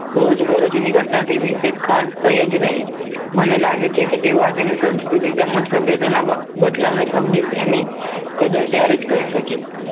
રોજબરોજની ઘટનાથી વિશેષ ખાસ કંઈ જ નહીં મને લાગે છે કે તેઓ આજ ની સંસ્કૃતિ તેમજ સભ્યતાના બદલાવને સમજી તેની કદર ત્યારે જ કરી શકે